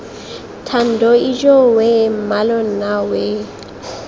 thando ijoowee mmalo nna wee